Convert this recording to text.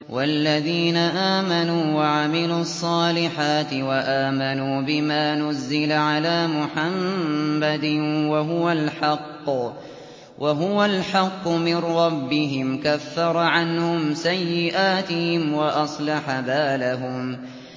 وَالَّذِينَ آمَنُوا وَعَمِلُوا الصَّالِحَاتِ وَآمَنُوا بِمَا نُزِّلَ عَلَىٰ مُحَمَّدٍ وَهُوَ الْحَقُّ مِن رَّبِّهِمْ ۙ كَفَّرَ عَنْهُمْ سَيِّئَاتِهِمْ وَأَصْلَحَ بَالَهُمْ